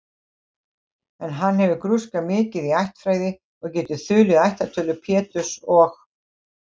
En hann hafði grúskað mikið í ættfræði og gat þulið ættartölu Péturs og